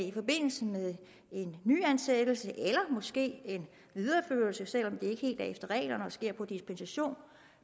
i forbindelse med en nyansættelse eller måske en videreførelse selv om det ikke helt er efter reglerne og sker på dispensation